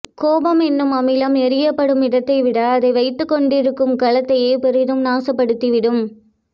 கோபம் என்னும் அமிலம் எறியப்படும் இடத்தைவிட அதை வைத்துக் கொண்டிருக்கும் கலதத்தையே பெரிதும் நாசப்படுத்தி விடும்